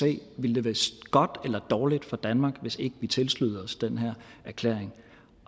det ville være godt eller dårligt for danmark hvis ikke vi tilsluttede os den her erklæring